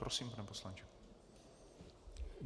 Prosím, pane poslanče.